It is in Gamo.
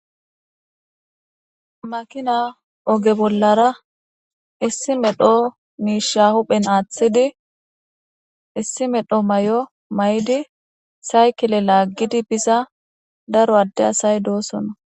Makinna Oge bollara issi medhdho miishsha huphphen Aathidi issi meedho mayo mayiddi saykileza laggiddi biza daro adde asay dossonna.